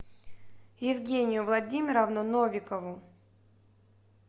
евгению владимировну новикову